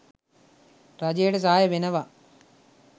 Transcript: රජයට සහය වෙනවා